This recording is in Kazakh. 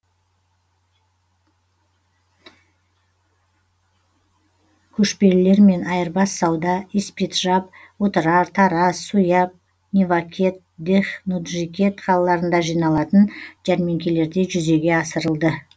көшпелілермен айырбас сауда испиджаб отырар тараз суяб невакет дех нуджикет қалаларында жиналатын жәрмеңкелерде жүзеге асырылды